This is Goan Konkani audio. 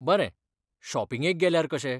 बरें, शॉपिंगेक गेल्यार कशें?